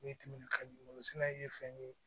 Ne timinan ka di olu fana ye fɛn ye